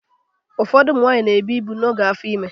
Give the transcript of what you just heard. Ụfọdụ ụmụ nwanyị na-ebụ ibu n'oge afọ ime